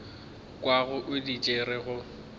kwago o di tšere go